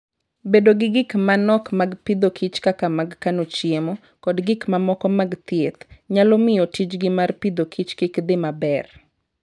Bedo gi gik ma nok mag pidhokich kaka mag kano chiemo, kod gik mamoko mag thieth, nyalo miyo tijgi mar pidhokich kik dhi maber.